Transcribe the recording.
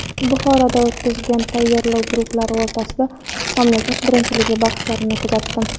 Buxoroda o‘tkazilgan tayyorlov guruhlari o‘rtasidagi mamlakat birinchiligi bahslarini kuzatdim.